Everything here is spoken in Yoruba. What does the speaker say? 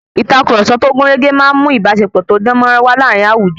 Ìtàkurọ̀sọ tó gúnrégé máa ń mu ìbáṣepọ̀ tó dán máa- rán wá láàárín àwùjọ.